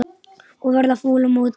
Og verða fúll á móti!